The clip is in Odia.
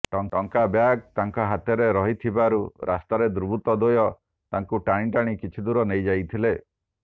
ଟଙ୍କା ବ୍ୟାଗ ତାଙ୍କ ହାତରେ ରହିଥିବାରୁ ରାସ୍ତାରେ ଦୁର୍ବୃତ ଦ୍ୱୟ ତାଙ୍କୁ ଟାଣି ଟାଣି କିଛି ଦୂର ନେଇଯାଇଥିଲେ